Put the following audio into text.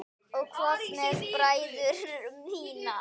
Og hvað með bræður mína?